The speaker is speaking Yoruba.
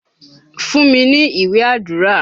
Fún mi ní ìwé Àdúrà.!